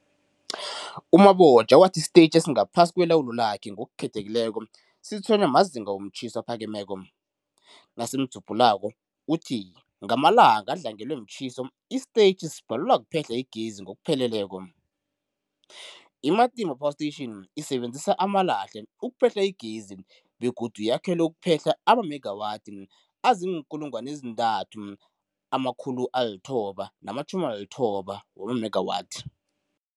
U-Mabotja wathi isitetjhi esingaphasi kwelawulo lakhe, ngokukhethekileko, sitshwenywa mazinga womtjhiso aphakemeko. Ngamalanga adlangelwe mtjhiso, isitetjhi sibhalelwa kuphehla igezi ngokupheleleko. I-Matimba Power Station isebenzisa amalahle ukuphehla igezi begodu yakhelwe ukuphehla amamegawathi azii-3990 megawathi.